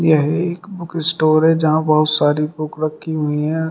यह एक book store है जहां बहुत सारी बुक रखी हुई हैं।